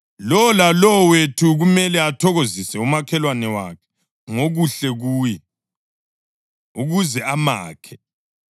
Lowo lalowo wethu kumele athokozise umakhelwane wakhe ngokuhle kuye, ukuze amakhe.